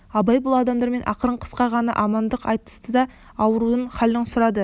абай бұл адамдармен ақырын қысқа ғана амандық айтысты да аурудың халін сұрады